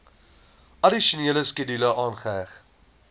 addisionele skedule aangeheg